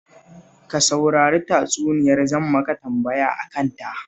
Ka saurari tatsuniyar, zan maka tambaya a kanta